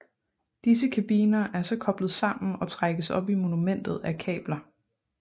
Disse kabiner er så koblet sammen og trækkes op i monumentet af kabler